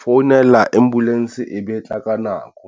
founela ambulance e be e tla ka nako.